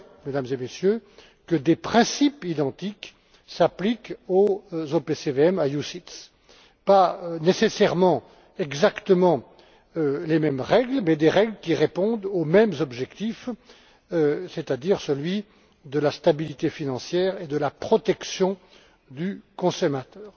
Je souhaite, Mesdames et Messieurs, que des principes identiques s'appliquent aux OPCVM ou à UCITS pas nécessairement exactement les mêmes, mais des règles qui répondent aux mêmes objectifs, c'est à dire ceux de la stabilité financière et de la protection du consommateur.